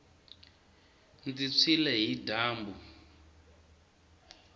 ndzi tshwile hi dyambu